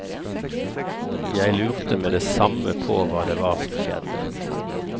Jeg lurte med det samme på hva det var som skjedde.